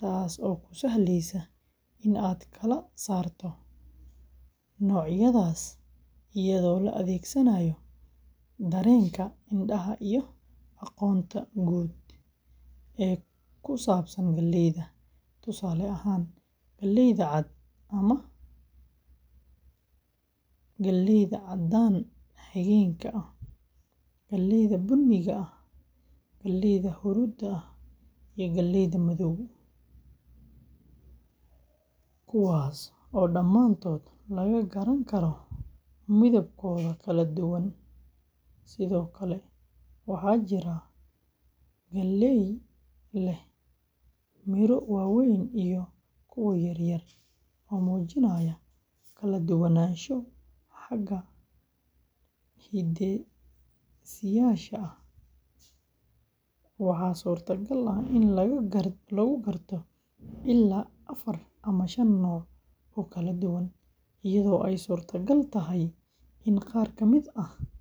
taas oo kuu sahlaysa in aad kala saarto noocyadaas iyadoo la adeegsanayo dareenka indhaha iyo aqoonta guud ee ku saabsan galleyda; tusaale ahaan, galleyda cad ama caddaan xigeenka ah, galleyda bunni ah, galleyda huruudda ah, iyo galleyda madow, kuwaas oo dhamaantood laga garan karo midabkooda kala duwan, sidoo kale waxaa jirta galley leh miro waaweyn iyo kuwo yaryar oo muujinaya kala duwanaansho xagga hidde-sideyaasha ah; waxaa suurtagal ah in lagu garto ilaa afar ama shan nooc oo kala duwan, iyadoo ay suuragal tahay in qaar ka mid ah galleydaasi.